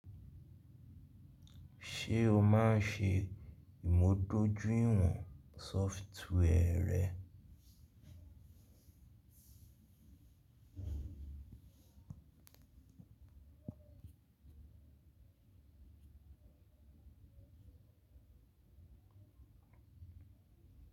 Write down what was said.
Ṣé o máa ń ṣe ìmúdójúìwọ̀n software rẹ?